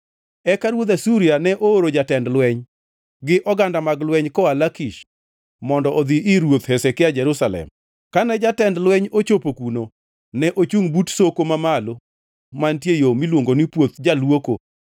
Eka ruodh Asuria ne ooro jatend lweny gi ogandane mag lweny koa Lakish mondo odhi ir Ruoth Hezekia Jerusalem. Kane jatend lweny ochopo kuno, ne ochungʼ but Soko Mamalo mantie e yo miluongo ni Puoth Jaluoko.